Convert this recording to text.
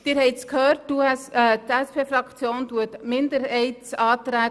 Wie Sie gehört haben, unterstützt die SP-JUSO-PSAFraktion die Minderheitsanträge.